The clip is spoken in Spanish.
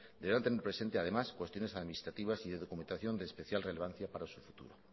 deberán tener presenta además cuestiones administrativas y de documentación de especial relevancia para su futuro